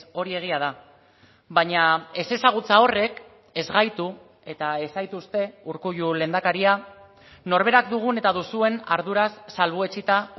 hori egia da baina ezezagutza horrek ez gaitu eta ez zaituzte urkullu lehendakaria norberak dugun eta duzuen arduraz salbuetsita